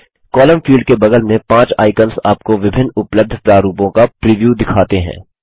column field के बगल में पाँच आइकन्स आपको विभिन्न उपलब्ध प्रारूपों का प्रिव्यू दिखाते हैं